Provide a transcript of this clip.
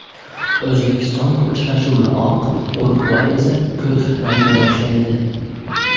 O‘zbekiston uchrashuvni oq, Urugvay esa havorang libosda boshlaydi.